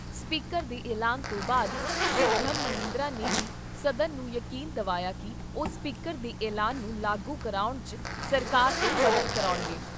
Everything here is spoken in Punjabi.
ਸਪੀਕਰ ਦੇ ਐਲਾਨ ਤੋਂ ਬਾਅਦ ਸ੍ਰੀ ਬ੍ਰਹਮ ਮਹਿੰਦਰਾ ਨੇ ਵੀ ਸਦਨ ਨੂੰ ਯਕੀਨ ਦਵਾਇਆ ਕਿ ਉਹ ਸਪੀਕਰ ਦੇ ਐਲਾਨ ਨੂੰ ਲਾਗੂ ਕਰਾਉਣ 'ਚ ਸਰਕਾਰ ਤੋਂ ਮਦਦ ਕਰਾਉਣਗੇ।